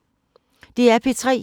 DR P3